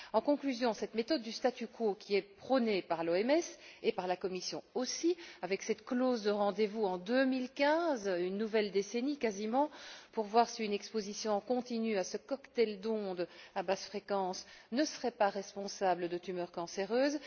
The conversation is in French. En conclusion, cette méthode du statu quo, qui est prônée par l'OMS et par la Commission aussi, avec cette clause de rendez vous en 2015 une nouvelle décennie quasiment pour voir si une exposition continue à ce cocktail d'ondes à basses fréquences ne serait pas responsable de tumeurs cancéreuses.